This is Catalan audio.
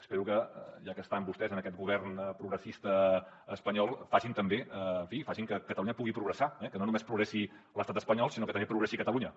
espero que ja que estan vostès en aquest govern progressista espanyol facin també en fi que catalunya pugui progressar que no només progressi l’estat espanyol sinó que també progressi catalunya